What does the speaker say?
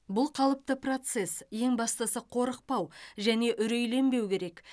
бұл қалыпты процесс ең бастысы қорықпау және үрейленбеу керек